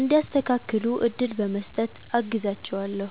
እንዲያስተካክሉ እድል በመስጠት አግዛቸዋለሁ።